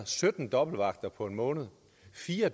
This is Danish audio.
sytten dobbeltvagter på en måned fire